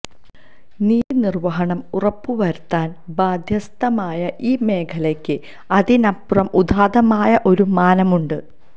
നീതിനിര്വഹണം ഉറപ്പ് വരുത്താന് ബാധ്യസ്ഥമായ ഈ മേഖലക്ക് അതിനപ്പുറം ഉദാത്തമായ ഒരു മാനമുണ്ട്